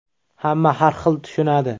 Hamma har xil tushunadi.